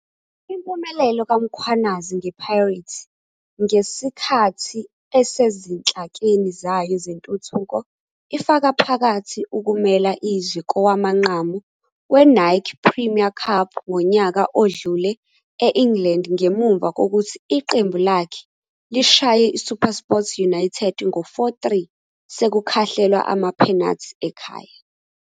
Impumelelo kaMkhwanazi ngePirates ngesikhathi esesezinhlakeni zayo zentuthuko ifaka phakathi ukumela izwe kowamanqamu weNike Premier Cup ngonyaka odlule e-England ngemuva kokuthi iqembu lakhe lishaye iSupersport United ngo 4-3 sekukhahlelwa amaphenathi ekhaya.